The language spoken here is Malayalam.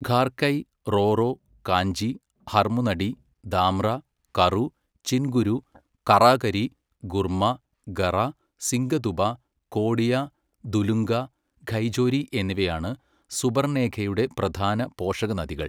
ഖാർകൈ, റോറോ, കാഞ്ചി, ഹർമു നടി, ദാംറ, കറു, ചിൻഗുരു, കറാകരി, ഗുർമ, ഗറ, സിംഗദുബ, കോഡിയ, ദുലുംഗ, ഖൈജോരി എന്നിവയാണ് സുബർണേഖയുടെ പ്രധാന പോഷകനദികൾ.